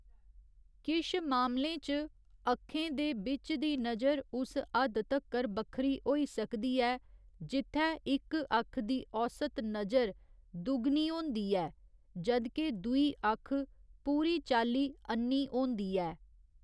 किश मामलें च, अक्खें दे बिच्च दी नजर उस हद्द तक्कर बक्खरी होई सकदी ऐ जित्थै इक अक्ख दी औस्त नजर दुगनी होंदी ऐ जद् के दुई अक्ख पूरी चाल्ली अन्नी होंदी ऐ।